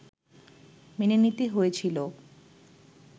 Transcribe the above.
মেনে নিতে হয়েছিল